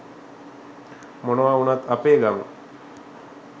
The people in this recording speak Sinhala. මොනව උනත් අපේ ගම